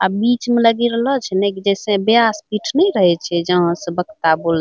अ बिच में लगी रहलो छे ना जैसा बेयास पिट नहीं रहे छे जहाँ से बकता बोले --